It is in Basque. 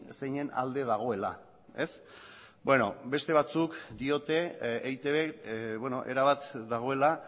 zeinen alde dagoela ez beno beste batzuk diote eitb erabat dagoela